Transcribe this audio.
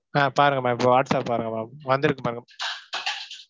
அஹ் பாருங்க ma'am இப்ப WhatsApp பாருங்க ma'am வந்திருக்கு பாருங்க ma'am.